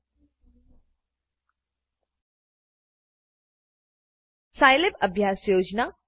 Scilab સાઈલેબઅભ્યાસ યોજના